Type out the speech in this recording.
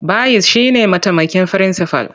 Bayis shi ne mataimakin firinsifal.